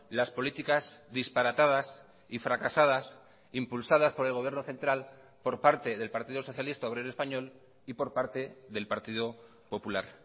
las políticas disparatadas y fracasadas impulsadas por el gobierno central por parte del partido socialista obrero español y por parte del partido popular